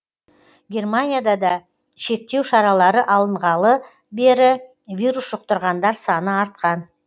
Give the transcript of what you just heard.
германияда да шектеу шаралары алынғалы бері вирус жұқтырғандар саны артқан